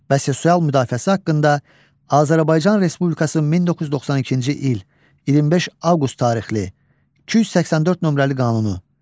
Və sosial müdafiəsi haqqında Azərbaycan Respublikasının 1992-ci il 25 avqust tarixli 284 nömrəli qanunu.